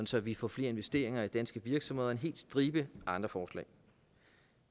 så vi får flere investeringer i danske virksomheder og en hel stribe andre forslag